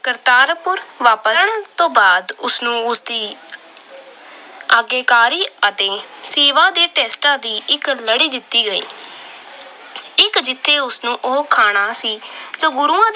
ਕਰਤਾਰਪੁਰ ਵਾਪਸ ਆਉਣ ਤੋਂ ਬਾਅਦ ਉਸ ਨੂੰ ਉਸਦੀ ਆਗਿਆਕਾਰੀ ਅਤੇ ਸੇਵਾ ਦੇ test ਦੀ ਇੱਕ ਲੜੀ ਦਿੱਤੀ ਗਈ। ਇੱਕ ਜਿਥੇ ਉਸ ਨੂੰ ਖਾਣਾ ਸੀ ਤੇ ਗੁਰੂ